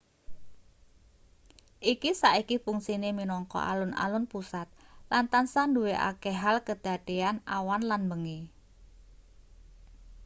iki saiki fungsine minangka alun-alun pusat lan tansah duwe akeh hal kedadean awan lan bengi